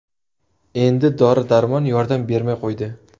Endi dori-darmon yordam bermay qo‘ydi.